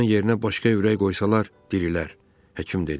Onun yerinə başqa ürək qoysalar dirilər, həkim dedi.